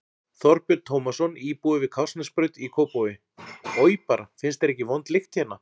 Þorbjörn Tómasson, íbúi við Kársnesbraut í Kópavogi: Oj bara, finnst þér ekki vond lykt hérna?